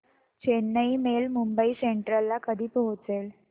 Chennai mail Mumbai central ला कधी पोहचेल